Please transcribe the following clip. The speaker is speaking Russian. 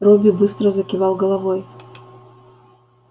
робби быстро закивал головой